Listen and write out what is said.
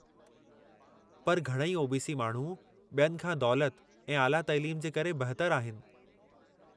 पर घणई ओ.बी.सी. माण्हू बि॒यनि खां दौलति ऐं आला तइलीम जे करे बहितर आहिनि।